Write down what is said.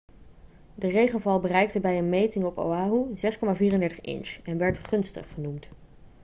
de regenval bereikte bij een meting op oahu 6,34 inch en werd gunstig' genoemd